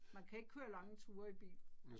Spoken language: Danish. Man kan ikke køre lange ture i bil